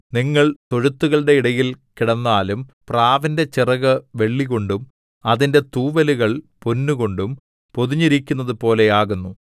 നിങ്ങൾ തൊഴുത്തുകളുടെ ഇടയിൽ കിടന്നാലും പ്രാവിന്റെ ചിറക് വെള്ളികൊണ്ടും അതിന്റെ തൂവലുകൾ പൊന്നുകൊണ്ടും പൊതിഞ്ഞിരിക്കുന്നതുപോലെ ആകുന്നു